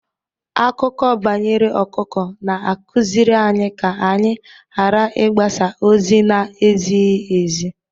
Akụkọ banyere ọkụkọ na-akụziri anyị ka anyị ghara ịgbasa ozi na-ezighi ezi.